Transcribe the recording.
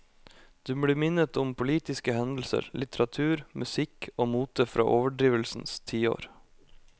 Du blir minnet om politiske hendelser, litteratur, musikk og mote fra overdrivelsens tiår.